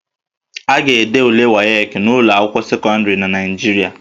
A ga-ede ule WAEC n'ụlọ akwụkwọ sekọndịrị na Naịjirịa